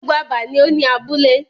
Gbogbo abà ni o ni abúlé.